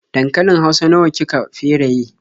Dankalin hausa nawa ki ka feraye?